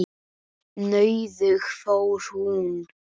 Nauðug fór hún.